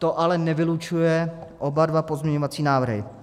To ale nevylučuje oba dva pozměňovací návrhy.